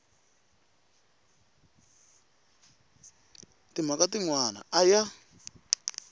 timhaka tin wana a ya